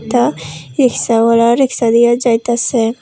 একটা রিক্সাওয়ালা রিক্সা নিয়ে যাইতাসে।